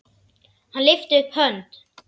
Hann lyfti upp hönd.